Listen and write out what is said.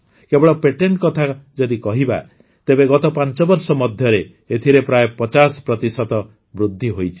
କେବଳ ପେଟେଣ୍ଟ କଥା ଯଦି କହିବା ତେବେ ଗତ ୫ ବର୍ଷ ମଧ୍ୟରେ ଏଥିରେ ପ୍ରାୟ ୫୦ ପ୍ରତିଶତ ବୃଦ୍ଧି ହୋଇଛି